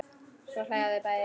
Svo hlæja þau bæði.